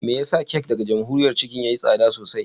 Me yasa kek daga Jamhuriyar Chicken yayi tsada sosai?